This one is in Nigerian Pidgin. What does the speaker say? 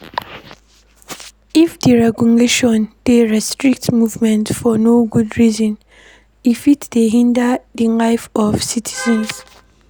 If di regulation dey restrict movement for no good reason e fit dey hinder di life of citizens